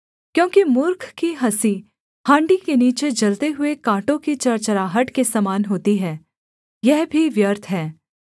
क्योंकि मूर्ख की हँसी हाण्डी के नीचे जलते हुए काँटों ही चरचराहट के समान होती है यह भी व्यर्थ है